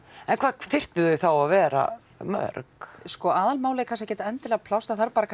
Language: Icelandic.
en hvað þyrftu þau þá að vera mörg sko aðalmálið er kannski ekkert endilega pláss það þarf bara